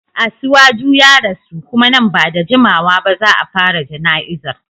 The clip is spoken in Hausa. Asiwaju ya rasu kuma nan ba da jimawa ba za a fara jana'izar.